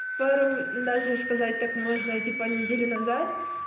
пару даже сказать так можно типа неделю назад